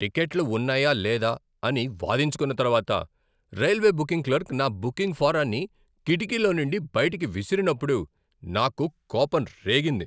టిక్కెట్లు ఉన్నాయా లేదా అని వాదించుకున్న తరువాత రైల్వే బుకింగ్ క్లర్క్ నా బుకింగ్ ఫారాన్ని కిటికీలో నుండి బయటకు విసిరినప్పుడు నాకు కోపం రేగింది.